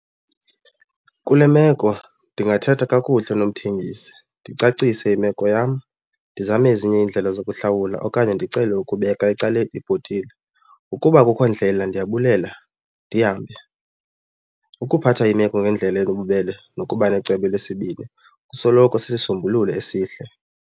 Kule meko ndingathetha kakuhle nomthengisi ndicacise imeko yam, ndizame ezinye iindlela zokuhlawula okanye ndicele ukubeka ecaleni ibhotile. Ukuba akukho ndlela ndiyabulela ndihambe. Ukuphatha imeko ngendlela enobubele nokuba necebo elesibini kusoloko sisisombululo esihle.